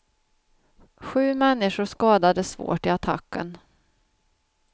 Sju människor skadades svårt i attacken.